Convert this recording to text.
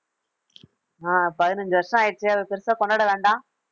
ஆஹ் பதினைந்து வருஷம் ஆயிடுச்சு அதை பெருசா கொண்டாட வேண்டாம்